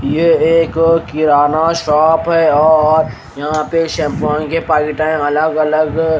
यह एक किराना शॉप है और यहां पे शैंपूयां के पैकेट हैं अलग अलग--